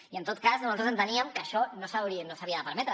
i en tot cas nosaltres enteníem que això no s’havia de permetre